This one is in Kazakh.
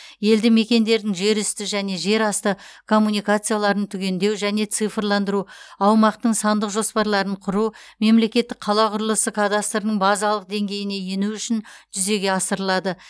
елді мекендердің жер үсті және жер асты коммуникацияларын түгендеу және цифрландыру аумақтың сандық жоспарларын құру мемлекеттік қала құрылысы кадастрының базалық деңгейіне ену үшін жүзеге асырылады